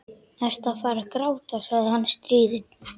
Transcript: Ertu að fara að gráta? sagði hann stríðinn.